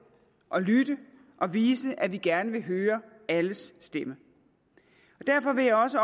lytter og viser at vi gerne vil høre alles stemme derfor vil jeg også